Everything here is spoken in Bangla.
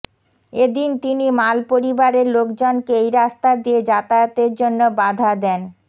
এদিন তিনি মাল পরিবারের লোকজনকে এই রাস্তা দিয়ে যাতায়াতের জন্য বাধা দেন